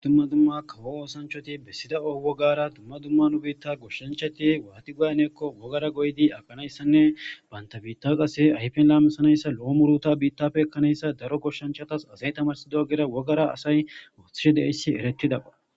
dumma dumma kawo oosanchoti bessida owogara tumma dumma nubiitta goshshancheti waati guaynekko wogara goydi agganayssanne banta biitta qase ayfen laamisanayssa lo7o muruta biittafe ekkanayssa daro goshshanchatas asay tamarsido gera wogara asay oothishe deessi eretida pa